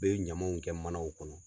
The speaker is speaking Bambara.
U be ɲamanw kɛ manaw kɔnɔ